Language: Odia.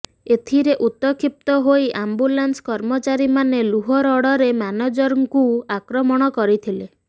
ଏଥିରେ ଉତକ୍ଷିପ୍ତ ହୋଇ ଆମ୍ବୁଲାନ୍ସ କର୍ମଚାରୀ ମାନେ ଲୁହ ରଡ଼ରେ ମ୍ୟାନେଜରଙ୍କୁ ଆକ୍ରମଣ କରିଥିଲେ